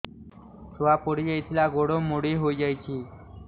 ଛୁଆ ପଡିଯାଇଥିଲା ଗୋଡ ମୋଡ଼ି ହୋଇଯାଇଛି